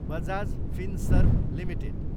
Bajaj Finserv Ltd